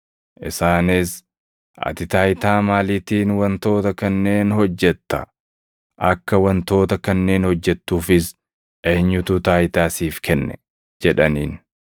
Isaanis, “Ati taayitaa maaliitiin wantoota kanneen hojjetta? Akka wantoota kanneen hojjettuufis eenyutu taayitaa siif kenne?” jedhaniin.